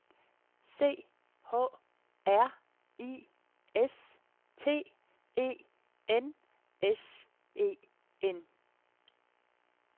C H R I S T E N S E N